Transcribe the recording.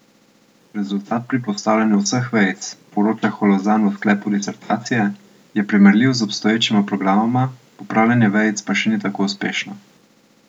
Rezultat pri postavljanju vseh vejic, poroča Holozan v sklepu disertacije, je primerljiv z obstoječima programoma, popravljanje vejic pa še ni tako uspešno.